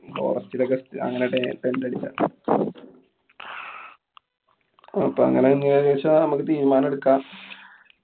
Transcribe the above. forest ലൊക്കെ അങ്ങനെ tent അടിച്ചാ. അപ്പൊ അങ്ങനെയാണെങ്കി ഏകദേശം നമ്മക്ക് തീരുമാനം എടുക്കാം.